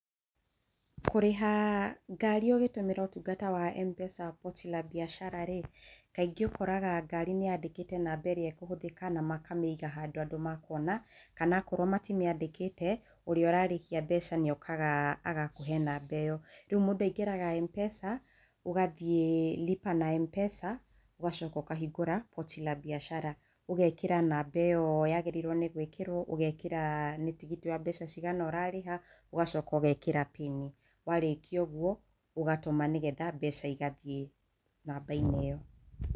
Kũrĩha ngarĩ ũgĩtũmĩra ũtungata wa M-Pesa wa Pochi La Biashara rĩ kaingĩ ũkoraga ngari nĩyandĩkĩte namba ĩrĩa ĩkũhũthĩka na makamĩiga handũ andũ makwona kana akorwo matimĩandĩkĩte ũrĩa ũrarĩhia mbeca nĩ okaga agakũhe namba ĩyo, rĩu mũndũ aingĩraga M-Pesa ũgathiĩ Lipa na Mpesa ũgacoka ũkahingũra Pochi La Biashara ũgekĩra namba ĩyo yagĩrĩirwo nĩ gwĩkĩrwo, ũgekĩra nĩ tigiti wa mbeca cigana ũrarĩha ũgacoka ũgekĩra pin warĩkia ũguo ũgatũma nĩgetha mbeca igathiĩ namba -inĩ ĩyo.